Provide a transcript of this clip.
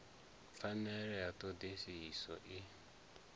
pfanelo ya ṱho ḓisiso i